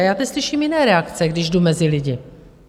A já teď slyším jiné reakce, když jdu mezi lidi.